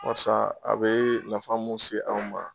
Barisa a bɛ nafa mun se anw ma,